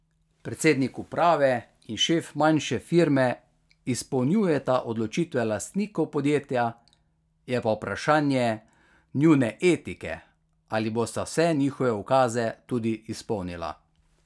Predsednik uprave in šef manjše firme izpolnjujeta odločitve lastnikov podjetja, je pa vprašanje njune etike, ali bosta vse njihove ukaze tudi izpolnila.